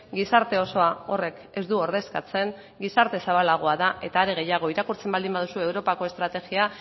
gizarte osoa horrek ez du ordezkatzen gizarte zabalagoa da eta are gehiago irakurtzen baldin baduzue europako estrategia